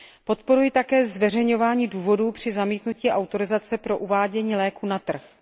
Podporuji také zveřejňování důvodů při zamítnutí autorizace pro uvádění léků na trh.